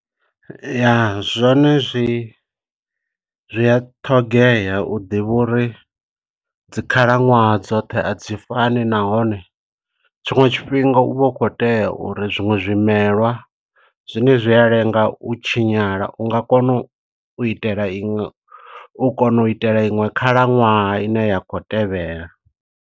Ya, zwone zwi zwi a ṱhogea u ḓivha uri dzi khalaṅwaha dzoṱhe a dzi fani, nahone tshiṅwe tshifhinga u vha u khou tea uri zwiṅwe zwimelwa, zwine zwi a lenga u tshinyala, u nga kona u itela iṅwe, u kona u itela iṅwe khalaṅwaha ine ya khou tevhela.